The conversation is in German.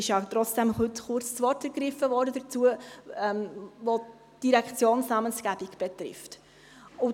Die eine wurde zwar zurückgezogen, aber es wurde ja heute trotzdem kurz das Wort dazu ergriffen.